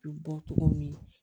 U bɛ bɔ togo min